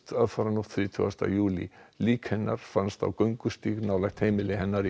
aðfaranótt þrítugasta júlí lík hennar fannst á göngustíg nálægt heimili hennar í